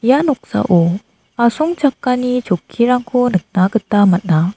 ia noksao asongchakani chokkirangko nikna gita man·a.